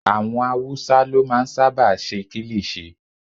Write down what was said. Àwọn awúsá ló máa n sáábà ṣe kílìṣí